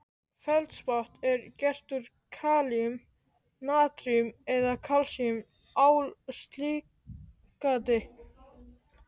Feldspat er gert úr kalíum-, natríum- eða kalsíum-ál-silíkati